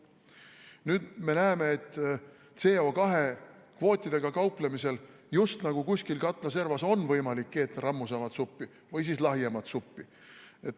Nüüd me näeme, et CO2 kvootidega kauplemisel just nagu kuskil katla servas on võimalik keeta rammusamat või lahjemat suppi.